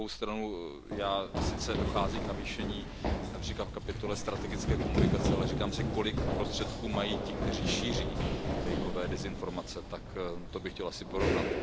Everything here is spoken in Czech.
Na druhou stranu sice dochází k navýšení, například v kapitole strategické komunikace, ale říkám si, kolik prostředků mají ti, kteří šíří dezinformace, to by chtělo asi porovnat.